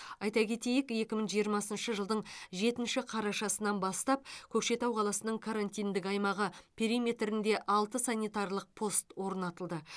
айта кетейік екі мың жиырмасыншы жылдың жетінші қарашасынан бастап көкшетау қаласының карантиндік аймағы периметрінде алты санитарлық пост орнатылды